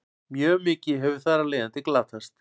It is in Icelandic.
mjög mikið hefur þar af leiðandi glatast